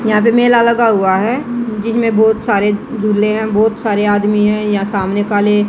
यहां पे मेला लगा हुआ हैं जिसमें बहोत सारे झूले है बहोत सारे आदमी है यहां सामने काले--